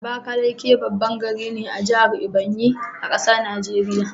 Abakaliki baban gari ne a jahar Ebonyi,a ƙasar Nigeria